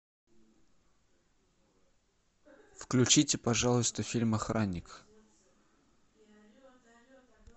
включите пожалуйста фильм охранник